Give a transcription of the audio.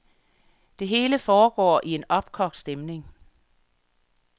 Det hele foregår i en opkogt stemning.